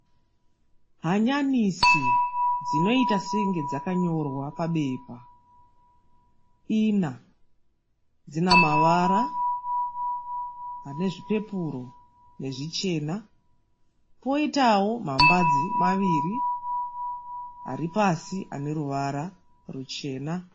Hanyanisi dzinoita senge dzakanyorwa pabepa ina. Dzinamavara anezvipepuro nezvichena potawo mambadzi maviri aripasi aneruvara ruchena.